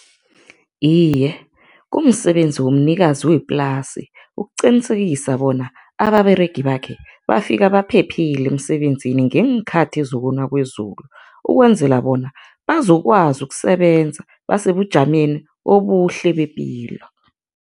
Iye, kumsebenzi womnikazi weplasi ukuqinisekisa bona ababeregi bakhe bafika baphephile emsebenzini ngeenkhathi zokuna kwezulu, ukwenzela bona bazokwazi ukusebenza basebujameni obuhle bepilo.